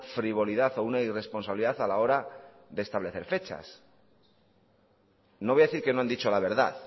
frivolidad o una irresponsabilidad a la hora de establecer fechas no voy a decir que no han dicho la verdad